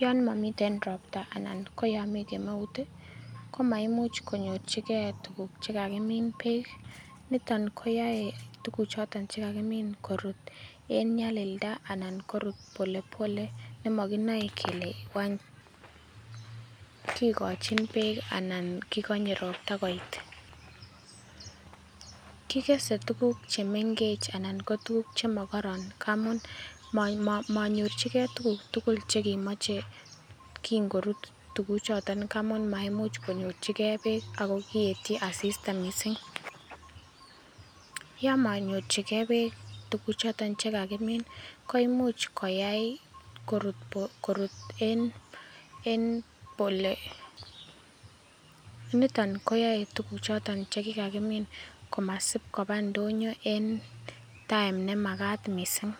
Yon momiten ropta anan ko yon mii kemeut ih ko maimuch konyorchigee tuguk chekokimin beek niton koyoe tuguk choton kakinam korut en nyalilda anan korut pole pole nemokinoe kele wany kikochin beek anan kikonye ropta koit kikese tuguk chemengech anan ko tuguk chemokororon amun monyorchigee tuguk tugul chekimoche kin korutu tuguk choton amun maimuch konyorchigee beek ako kietyi asista missing yon manyorchigee beek tuguk choton chekakimin koimuch koyai korut en pole pole niton koyoe tuguk choton chekikakimin komasip koba ndonyo en time nemakat missing.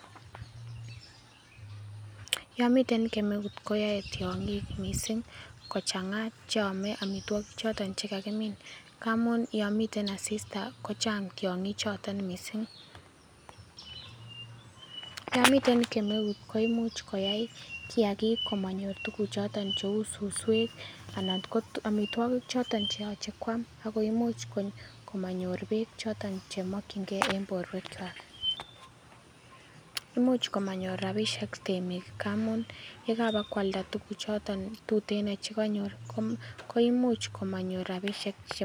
Yon miten kemeut koyoe tiong'ik missing kochanga cheome amitwogik choton chekakimin amun yon miten asista ko chang tiong'ik choton missing. Yon miten kemeut koimuch koyai kiagik komonyor tuguk choton cheu suswek anan ko amitwogik choton cheoche koam akoimuch komonyor beek choton chemokyingee en borwek kwak much komonyor rapisiek temiik amun yekabokoalda tuguk choton tuten chekonyor koimuch komonyor rapisiek che